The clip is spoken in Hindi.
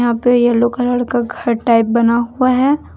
ऊपर येलो कलर का घर टाइप बना हुआ हैं।